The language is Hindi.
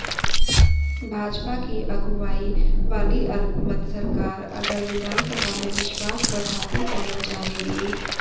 भाजपा की अगुवाई वाली अल्पमत सरकार अगर विधानसभा में विश्वास मत हासिल करना चाहेगी